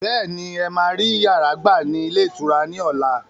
Bẹ́ẹ̀ni, ẹ máa rí yàrá gbà ní ilé ìtura ni ọ̀la.